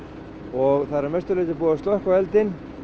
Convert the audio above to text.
og það er að mestu búið að slökkva eldinn